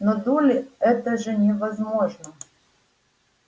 но долли это же невозможно